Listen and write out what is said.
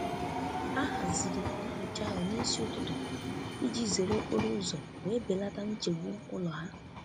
Ha haziri nyocha ahụ n'isi ụtụtụ iji zere okporo ụzọ wee belata nchegbu ụlọ ha.